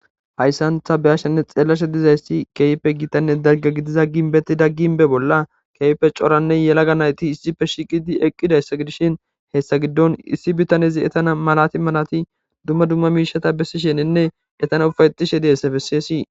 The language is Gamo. hayssantha beyashshanne xeellashe dizayssi keeype gitanne dagga gidiza ginbeti dagginbe bolla keype coranne yelaga nayti issife shiqidi eqqidayssa gidishin hessa giddon issi bitanezi etana malati malati dumma dumma miishata bessisheninne etana ufayetishe dihessefesseesii